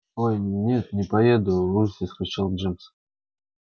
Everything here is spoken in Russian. ой нет не поеду в ужасе вскричал джимс